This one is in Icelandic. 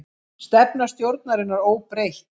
Stefna stjórnarinnar óbreytt